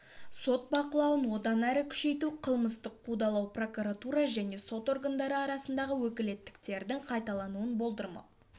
сот бақылауын одан әрі күшейту қылмыстық қудалау прокуратура және сот органдары арасындағы өкілеттіктердің қайталануын болдырмау